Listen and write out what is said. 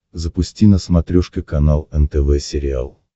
запусти на смотрешке канал нтв сериал